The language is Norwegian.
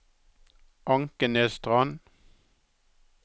Ankenesstrand